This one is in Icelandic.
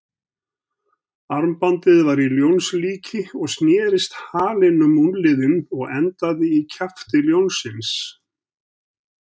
Armbandið var í ljónslíki og snerist halinn um úlnliðinn og endaði í kjafti ljónsins.